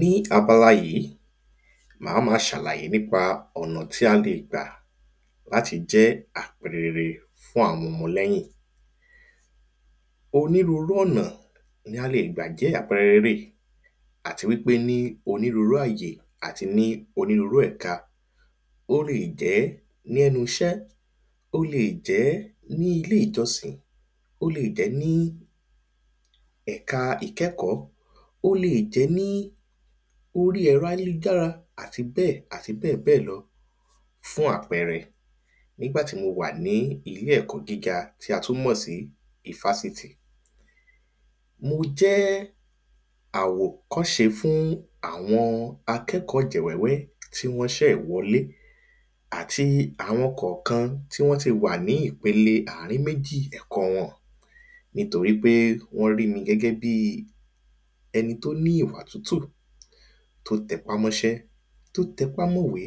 Ní abala yìí mà má ṣàlàyé nípa ọ̀nà tí a lè gbà láti jẹ́ àpẹrẹ rere fún àwọn ọmọ lẹ́yìn onírúrú ọ̀nà ni a lè gbà jẹ́ àpẹrẹ rere àti wípé ní onírúrú àyè àti ní onírúrú ẹ̀ka ó lè jẹ́ ní ẹnu iṣẹ́ ó le jẹ́ ní ilé ìjọsìn ó le jẹ́ ní ẹ̀ka ìkẹ́kòó ó le jẹ́ ní orí ẹ̀rọ ayélujára àti bẹ́ẹ̀ àti bẹ́ẹ̀ bẹ́ẹ̀ lọ. Fún àpẹrẹ nígbàtí mo wà ní ilé ẹ̀kọ́ gíga tí a tún mọ̀ sí ifásitì mo jẹ́ àwòkọ́ṣe fún àwọn akẹ́kọ̀ọ́ ọ̀jẹ̀ wẹ́wẹ́ tí wọ́n ṣẹ̀ṣẹ̀ wọlé àti àwọn kọ̀kan tí wọ́n ti wà ní ìpele àrin méjì ẹ̀kọ́ wọn nítorípé wọ́n rí gẹ́gẹ́ bí ẹni tó ní òkútù tó tẹpá mọ́ṣẹ́ tó tẹpá mọ́ ìwé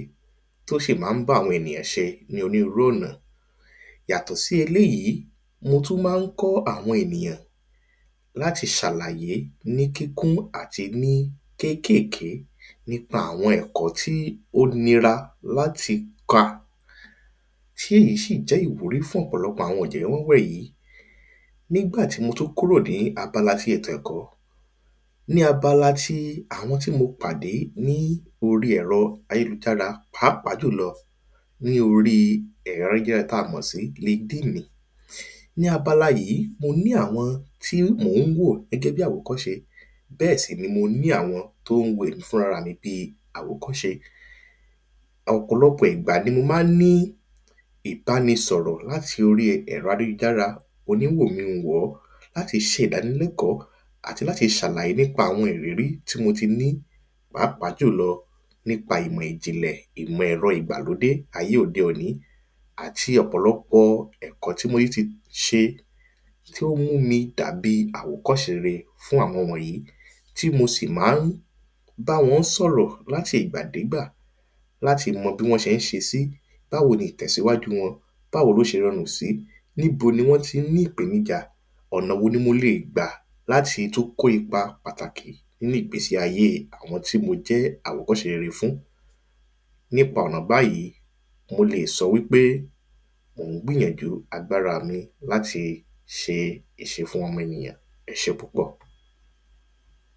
tó sì má ń bá àwọn ènìyàn ṣe ní onírúrú ọ̀nà. Yàtọ̀ sí eléèyí mo tún má ń kọ́ àwọn ènìyàn láti ṣàlàyé ní kíkún àti ní kékékèé nípa àwọn ẹ̀kọ́ tí ó nira láti kà tí èyí sì jẹ́ ìwúrí fún ọ̀pọ̀lọpọ̀ àwọn ọ̀jẹ́ wẹ́wẹ́ yìí. Nígbàtí mo tún kúrò ní abala ètò ẹ̀kọ́ ní abala tí àwọn tí mo pàdé ní orí ẹ̀rọ ayélujára pàápàá jùlọ ní orí ẹ̀rọ ayélujára tá mọ̀ sí Linkedin. Ní abala yìí mo ní àwọn tí mò ń wò gẹ́gẹ́ bí àwòkọ́ṣe bẹ́ẹ̀ sì ni mo ní àwọn tó ń wo èmi náà gẹ́gẹ́ bí àwòkọ́ṣe ọ̀pọ̀lọpọ̀ ìgbà ni mo má ń ní ìbáni sọ̀rọ̀ láti orí ẹ̀rọ ayélujára oní wòmí n wò ọ́ láti ṣe ìdáni lẹ́kọ̀ọ́ àti láti ṣàlàyé nípa àwọn ìrírí tí mo ti ní pàápàá jùlọ nípa ìmọ̀ ìjìnlẹ̀ ìmọ̀ ẹ̀rọ ìgbàlódé ayé òde òní àti ọ̀pọ̀lọpọ̀ ẹ̀kọ́ tí mo tún ti ṣe tó mú mi dàbí àwòkọ́ṣe rere fún àwọn ọmọ wọ̀nyìí tí mo sì má ń báwọn sọ̀rọ̀ láti ìgbà dé ìgbà láti mọ bí wọ́n ṣé ń ṣe sí báwo ni ìtẹ̀síwájú wọn báwo ló ṣe rọrùn sí níbo ni wọ́n tí ń ní ìpènijà ọ̀nà wo ni mo le gbà láti tún kó ipa ní ìgbésí ayé àwọn tí mo jẹ́ àwòkọ́ṣe rere fún. Nípa ọ̀nà báyìí mo le sọ wípé mò ń gbìyànjú agbára mi láti ṣe ìṣe fún ọmọ ènìyàn ẹṣé púpọ̀.